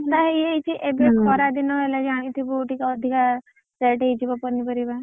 ଏବେ ଖରା ଦିନ ହେଲାଣି ଜାଣି ଥିବୁ ଟିକେ ଅଧିକା rate ହେଇଯିବ ପନିପରିବା।